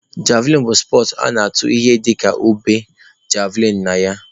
Javlịn bụ spọtsụ a na-atụ ihe dịka ube (javlịn) na ya.